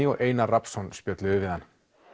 og Einar Rafnsson spjölluðu við hann